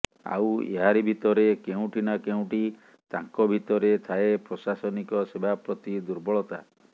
ଆଉ ଏହାରି ଭିତରେ କେଉଁଠି ନା କେଉଁଠି ତାଙ୍କ ଭିତରେ ଥାଏ ପ୍ରଶାସନିକ ସେବା ପ୍ରତି ଦୁର୍ବଳତା